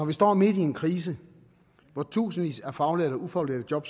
vi står midt i en krise hvor tusindvis af faglærte og ufaglærte job